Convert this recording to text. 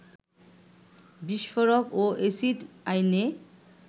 বিস্ফোরক ও এসিড আইনে